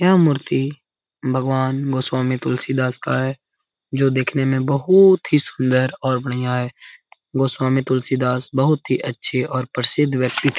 यह मूर्ति भगवान् स्वामी तुलसी दास का है जो दिखने में बहुत ही सुन्दर और बढ़िया है | भगवान् स्वामी तुलसी दास बहुत ही अच्छे और प्रसिद व्यति थे ।